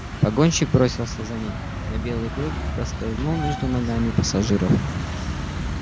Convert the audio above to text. погонщик бросился за ним но белый клык проскользнул между ногами пассажиров